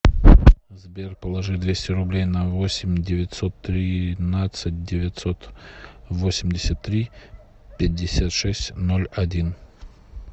сбер положи двести рублей на восемь девятьсот тринадцать девятьсот восемьдесят три пятьдесят шесть ноль один